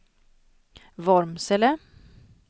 Vormsele